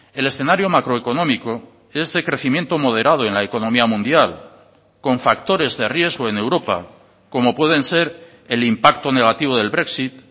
el escenario macroeconómico es de crecimiento moderado en la economía mundial con factores de riesgo en europa como pueden ser el impacto negativo del brexit